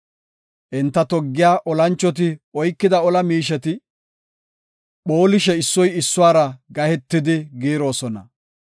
Enta toggiya olanchoti oykida ola miisheti, phoolishe issoy issuwara gahetidi giiroosona.